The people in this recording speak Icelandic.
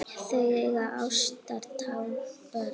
Þau eiga átján börn.